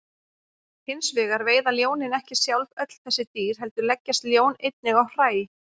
Hins vegar veiða ljónin ekki sjálf öll þessi dýr heldur leggjast ljón einnig á hræ.